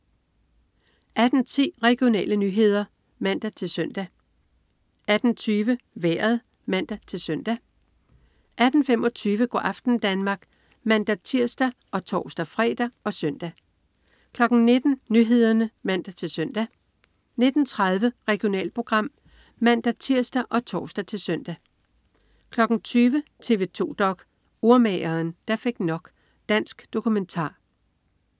18.10 Regionale nyheder (man-søn) 18.20 Vejret (man-søn) 18.25 Go' aften Danmark (man-tirs og tors-fre og søn) 19.00 Nyhederne (man-søn) 19.30 Regionalprogram (man-tirs og tors-søn) 20.00 TV 2 dok: Urmageren, der fik nok. Dansk dokumentar